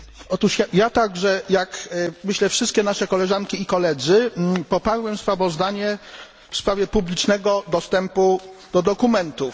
Otóż ja także jak myślę wszystkie nasze koleżanki i koledzy poparłem sprawozdanie w sprawie publicznego dostępu do dokumentów.